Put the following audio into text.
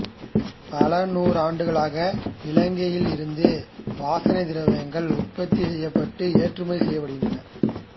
பல நூற்றாண்டுகளாக இலங்கையில் இருந்து வாசனைத் திரவியங்கள் உற்பத்தி செய்யப்பட்டு ஏற்றுமதி செய்யப்படுகின்றன